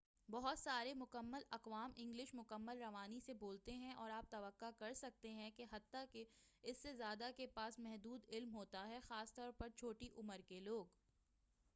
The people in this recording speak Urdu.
بہت سارے مکمل اقوام انگلش مکمل روانی سے بولتے ہیں اور آپ توقع کر سکتے ہیں کہ حتّیٰ کہ اس سے زیادہ کے پاس محدود علم ہوتا ہے خاص طور پر چھوٹی عمر کے لوگ